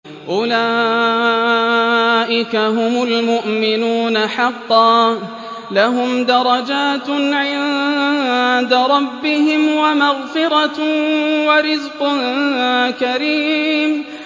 أُولَٰئِكَ هُمُ الْمُؤْمِنُونَ حَقًّا ۚ لَّهُمْ دَرَجَاتٌ عِندَ رَبِّهِمْ وَمَغْفِرَةٌ وَرِزْقٌ كَرِيمٌ